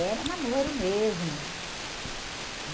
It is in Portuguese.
Era namoro mesmo. Eh